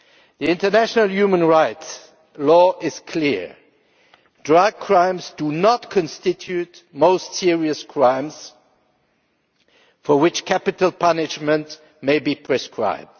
The international human rights law is clear drug crimes do not constitute most serious crimes for which capital punishment may be prescribed.